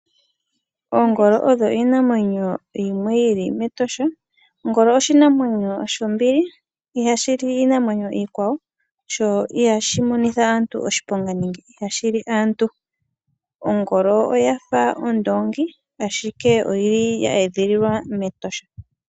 Oongolo iinamwenyo mbyoka yili metosha. Ongolo oshinamwenyo shombili ihashi li iinamwenyo iikwawo sho ihashi li aantu. Ongolo oyafa ondoongi ashike oye edhililwa metosha.